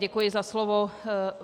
Děkuji za slovo.